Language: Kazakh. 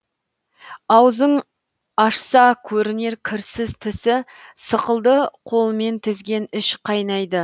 аузың ашса көрінер кірсіз тісі сықылды қолмен тізген іш қайнайды